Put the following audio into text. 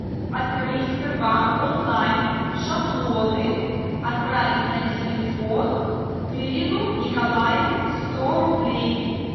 открыть сбербанк онлайн шаблоны отправить на телефон тырину николаю сто рублей